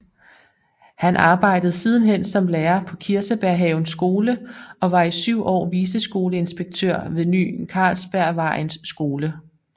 Han arbejdede sidenhen som lærer på Kirsebærhavens Skole og var i syv år viceskoleinspektør ved Ny Carlsbergvejens Skole